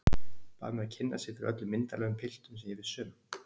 Bað mig að kynna sig fyrir öllum myndarlegum piltum sem ég vissi um.